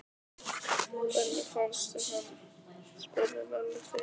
Hvernig fannstu hann? spurði Lalli hrifinn.